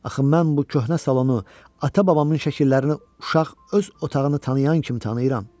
Axı mən bu köhnə salonu ata babamın şəkillərini uşaq öz otağını tanıyan kimi tanıyıram.